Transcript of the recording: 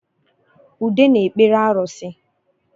Ude na-ekpere arusi